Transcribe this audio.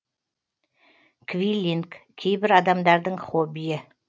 квиллинг кейбір адамдардың хоббиі